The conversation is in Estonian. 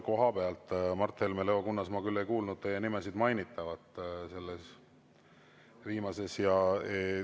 Mart Helme ja Leo Kunnas, ma küll ei kuulnud teie nimesid mainitavat selles viimases kõnes.